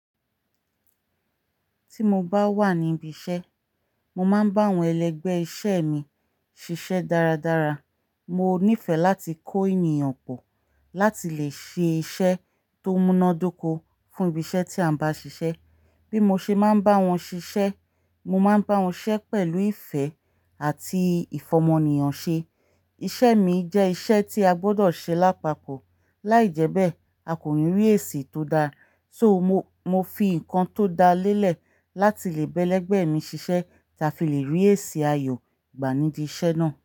Tí mo bá wà ní ibi iṣẹ́, mo máa ń bá àwọn ẹlẹgbẹ́ iṣẹ́ mi ṣiṣẹ́ dáradára. Mo nífẹ̀ẹ́ láti kó ènìyàn pọ̀ láti lè ṣe iṣẹ́ tó múnádóko fún ibi iṣẹ́ tí a bá ṣiṣẹ́. Bí mo ṣe máa ń bá wọn ṣiṣẹ́, mo máa ń bá wọn siṣẹ́ pẹ̀lú ìfẹ́ àti ìfọmọ ènìyàn ṣe. Iṣẹ́ mi jẹ́ iṣẹ́ tí a gbọ́dọ̀ ṣe lápapọ̀, láìjẹ́bẹ̀, a kò ní rí èsì tó da. So mo, mo fi nǹkan tó da lélẹ̀ láti lè bẹ́lẹ̀gbẹ́ mi ṣiṣẹ́ tá fi lè rí èsì ayọ̀ gba ni bi iṣẹ́ náà.